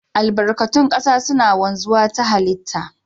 Albarkatun kasa suna wanzu ta hallita.